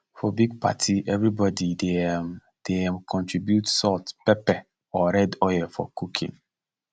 for big party everybody dey um dey um contribute salt pepper or red oil for cooking